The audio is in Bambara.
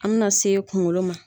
An mina se kunkolo ma